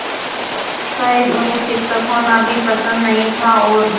शायद उन्हें शिक्षक होना भी पसंद नहीं था और